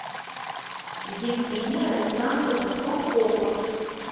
евгения александровна куркова